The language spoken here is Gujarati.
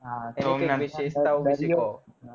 તો એમની વિશેષતાઓ કો